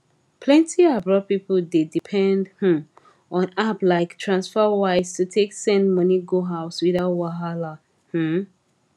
plenti abroad people dey depend um on app like transferwise to take send money go house without wahala um